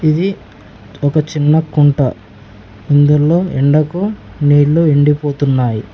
ఇది ఒక చిన్న కుంట ఇందులో ఎండకు నీళ్లు ఎండిపోతున్నాయి.